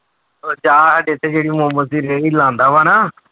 ਉਹ ਜਿਹੜੀ ਮੋਮੋਸ ਦੀ ਰੇੜੀ ਲਾਉਂਦਾ ਵਾ ਨਾ